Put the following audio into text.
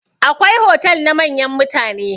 Akwai hotal na manyan mutane.